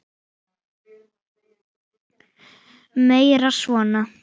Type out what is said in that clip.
Eru þetta kölluð afföll.